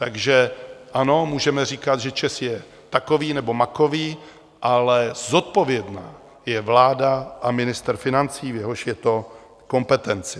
Takže ano, můžeme říkat, že ČEZ je takový nebo makový, ale zodpovědná je vláda a ministr financí, v jejichž je to kompetenci.